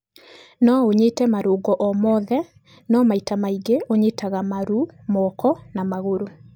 No ũnyite marũngo o mothe no maita maingĩ ũnyitaga maru, moko na magũrũ.